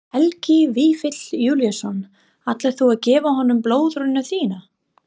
Helgi Vífill Júlíusson: Ætlar þú að gefa honum blöðruna þína?